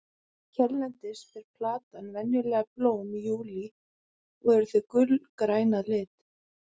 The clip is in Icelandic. hérlendis ber plantan venjulega blóm í júlí og eru þau gulgræn að lit